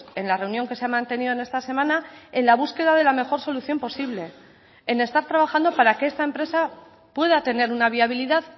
en la reunión que se ha mantenido en esta semana en la búsqueda de la mejor solución posible en estar trabajando para que esta empresa pueda tener una viabilidad